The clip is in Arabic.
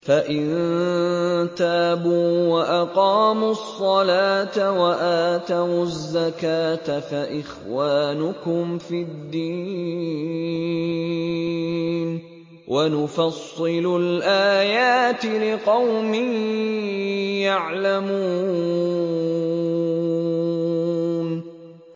فَإِن تَابُوا وَأَقَامُوا الصَّلَاةَ وَآتَوُا الزَّكَاةَ فَإِخْوَانُكُمْ فِي الدِّينِ ۗ وَنُفَصِّلُ الْآيَاتِ لِقَوْمٍ يَعْلَمُونَ